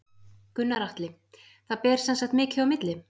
Gunnar Atli: Það ber sem sagt mikið á milli?